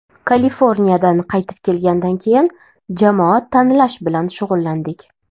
Kaliforniyadan qaytib kelgandan keyin jamoa tanlash bilan shug‘ullandik.